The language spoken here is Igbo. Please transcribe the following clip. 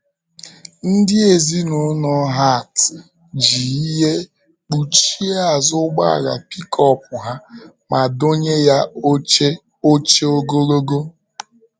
Ndị ezinụlọ Hart ji ihe kpuchie azụ ụgbọala pikọp ha, ma dọnye ya oche oche ogologo.